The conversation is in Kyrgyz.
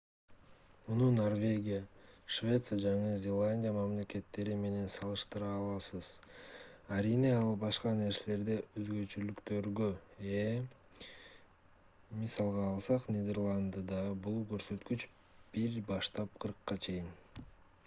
муну норвегия швеция жана жаңы зеландия мамлекеттери менен салыштыра аласыз арийне ал башка нерселерде өзгөчөлүктөргө ээ мисалга алсак нидерландыда бул көрсөткүч 1 баштап 40 чейин